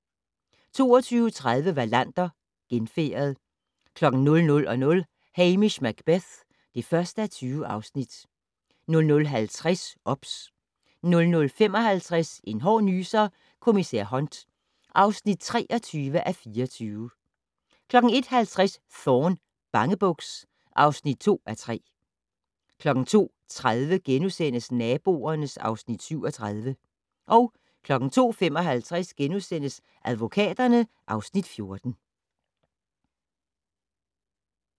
22:30: Wallander: Genfærdet 00:00: Hamish Macbeth (1:20) 00:50: OBS 00:55: En hård nyser: Kommissær Hunt (23:24) 01:50: Thorne: Bangebuks (2:3) 02:30: Naboerne (Afs. 37)* 02:55: Advokaterne (Afs. 14)*